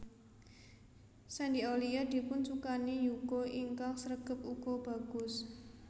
Shandy Aulia dipun sukani yuga ingkang sregep uga bagus